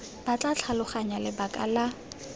ba tla tlhaloganya lebaka la